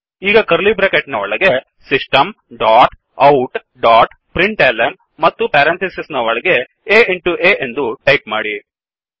ಈಗ curly bracket ನ ಒಳಗೆ ಸಿಸ್ಟಮ್ ಡೊಟ್ ಔಟ್ ಡೊಟ್ printlnಮತ್ತು ಪೆರೆಂಥಿಸಿಸ್ ನ ಒಳಗೆ aಇನ್ ಟುa ಎಂದು ಟಾಯಿಪ್ ಮಾಡಿ